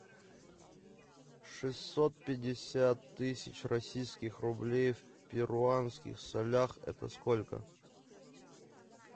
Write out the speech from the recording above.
шестьсот пятьдесят тысяч российских рублей в перуанских солях это сколько